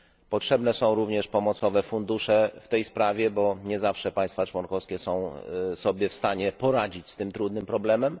Potrzebne są również pomocowe fundusze w tej sprawie, bo nie zawsze państwa członkowskie są sobie w stanie poradzić z tym trudnym problemem.